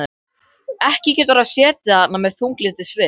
Ekki getur hann setið þarna með þunglyndissvip.